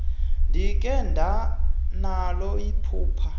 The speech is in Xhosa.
ndikhe ndanalo iphupha